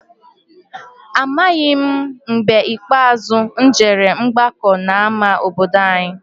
Amaghị m mgbe ikpeazụ m jere ọgbakọ n'ama obodo any'.